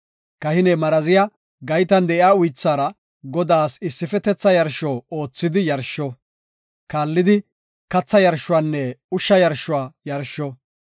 Kahiney maraziya gaytan de7iya uythaara Godaas issifetetha yarsho oothidi yarsho; kaallidi katha yarshuwanne ushsha yarshuwa yarsho.